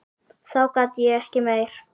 Þá gat ég ekki meir.